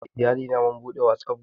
Ni da Iyalina mun buɗe Whatsapp guruf